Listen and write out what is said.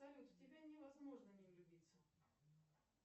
салют в тебя невозможно не влюбиться